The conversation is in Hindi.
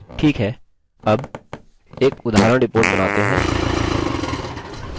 ठीक है अब एक उदाहरण report बनाते हैं